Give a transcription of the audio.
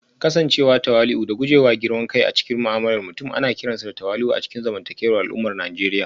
Kasancewa tawali'u da guje wa girman kai a cikin mu'amalar mutum ana kiranta da tawali'u a cikin zamantakewar al'ummar Najeriya